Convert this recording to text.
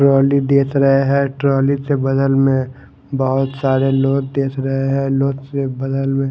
trolley देथ रहे है ट्राली ते बगल में बहोत सारे लोग देथ रहे है लोग ते बगल मे --